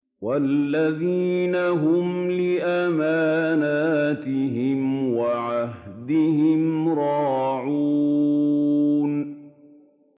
وَالَّذِينَ هُمْ لِأَمَانَاتِهِمْ وَعَهْدِهِمْ رَاعُونَ